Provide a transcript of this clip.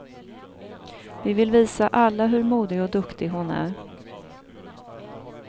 Vi vill visa alla hur modig och duktig hon är.